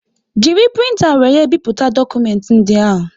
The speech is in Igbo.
Jiri printa wéré bipụta dokumenti ndị ahụ